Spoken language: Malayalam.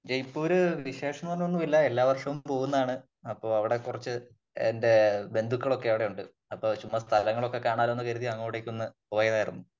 ജയ്പൂര് വിശേഷം എന്ന് പറഞ്ഞാ ഒന്നുമില്ല എല്ലാ വർഷവും പോകുന്നതാണ് അപ്പോ അവിടെ കുറച്ച് എന്റെ ബന്ധുക്കളൊക്കെ അവിടെയുണ്ട് . അപ്പോ ചുമ്മാ സ്ഥലങ്ങളൊക്കെ കാണാലോ എന്ന് കരുതി ചുമ്മാ അങ്ങോട്ടേക്ക് ഒന്ന് പോയതാണ്